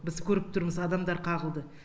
біз көріп тұрмыз адамдар қағылды